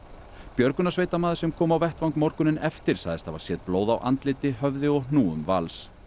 björgunarsveitarmaður sem kom á vettvang morguninn eftir sagðist hafa séð blóð á andliti höfði og hnúum Vals